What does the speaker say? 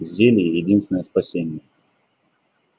зелье единственное спасение